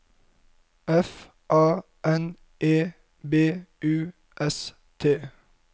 F A N E B U S T